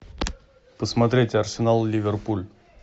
посмотреть арсенал ливерпуль